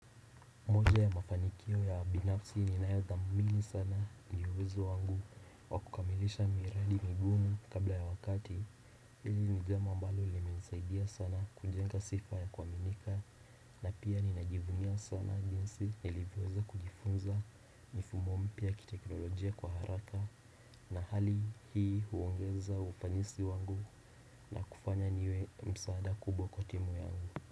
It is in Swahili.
Ya mafanikio ya binafsi ninayo thamini sana ni uwezo wangu wa kukamilisha miradi migumu kabla ya wakati Hili ni jambo ambalo limenisaidia sana kujenga sifa ya kuwaminika na pia ninajivunia sana jinsi ilivyoweza kujifunza mifumo mpya ya kiteknolojia kwa haraka na hali hii huongeza ufanisi wangu na kufanya niwe msaada kubwa kwa timu yangu.